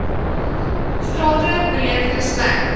strate breek respek